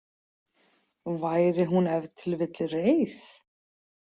Væri hún ef til vill reið?